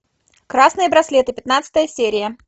красные браслеты пятнадцатая серия